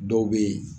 Dɔw bɛ yen